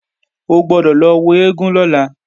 O gbọ́dọ̀ lọ wo eégún lọ́la!